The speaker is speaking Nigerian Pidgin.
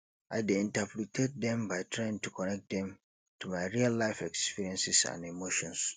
i dey interpret dem by trying to connect dem to my reallife experiences and emotions